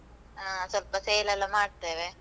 ಆ, ಸ್ವಲ್ಪ sale ಎಲ್ಲಾ ಮಾಡ್ತೇವೆ.